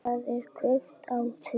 Það er kveikt á því.